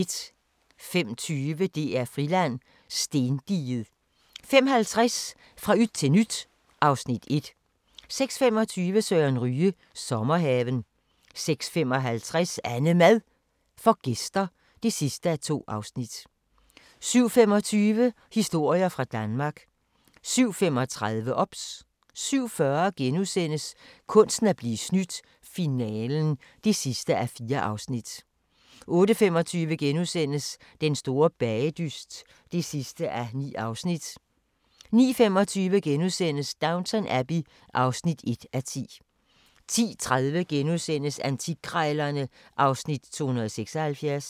05:20: DR-Friland: Stendiget 05:50: Fra yt til nyt (Afs. 1) 06:25: Søren Ryge – Sommerhaven 06:55: AnneMad får gæster (2:2) 07:25: Historier fra Danmark 07:35: OBS 07:40: Kunsten at blive snydt - finalen (4:4)* 08:25: Den store bagedyst (9:9)* 09:25: Downton Abbey (1:10)* 10:30: Antikkrejlerne (Afs. 276)*